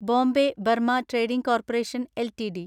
Bombay Burma trading corporation LTD